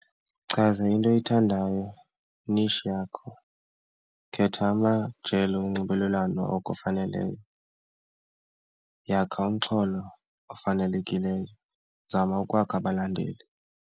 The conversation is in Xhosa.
Chaza into oyithandayo i-niche yakho, khetha amajelo onxibelelwano okufaneleyo, yakha umxholo ofanelekileyo, zama ukwakha abalandeli.